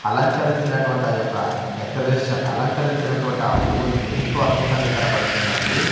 అలంకరించినటువంటి ఆ యొక్క డెకరేషన్ అలంకరించినటువంటి ఆ పువ్వుల్ని ఎంతో అద్భుతంగా తెనబడుతుందండి.